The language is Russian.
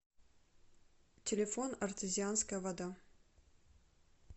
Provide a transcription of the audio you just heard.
телефон артезианская вода